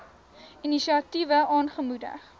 inisiatiewe aangemoedig